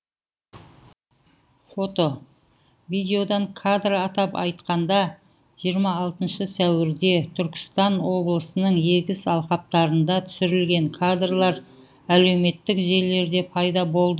фото видеодан кадр атап айтқанда жиырма алтыншы сәуірде түркістан облысының егіс алқаптарында түсірілген кадрлар әлеуметтік желілерде пайда болды